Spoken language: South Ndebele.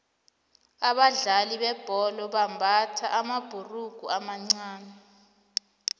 abadlali bebhola bambatha amabhurugu amancani